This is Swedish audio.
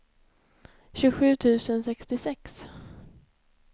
tjugosju tusen sextiosex